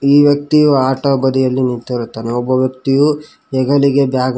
ಈ ವ್ಯಕ್ತಿಯು ಆಟ ಬದಿಯಲ್ಲಿ ನಿಂತಿರುತ್ತಾನೆ ಒಬ್ಬ ವ್ಯಕ್ತಿಯು ಹೆಗಲಿಗೆ ಬ್ಯಾಗ್ --